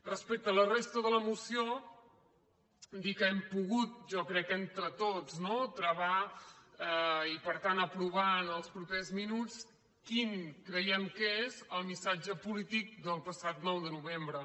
respecte a la resta de la moció dir que hem pogut jo crec que entre tots no travar i per tant apro·var en els propers minuts quin creiem que és el mis·satge polític del passat nou de novembre